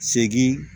Segi